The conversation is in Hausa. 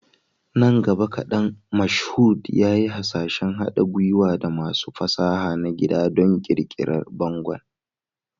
Nan gaba kadan, Mashood yayi hasashen haɗa gwiwa da masu fasaha na gida don ƙirƙirar bangon.